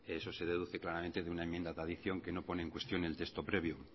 eso se deduce claramente de una enmienda de adición que no pone en cuestión el texto previo